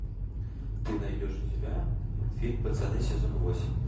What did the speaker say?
ты найдешь у себя мультфильм пацаны сезон восемь